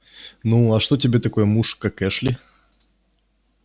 ну аа что тебе такой муж как эшли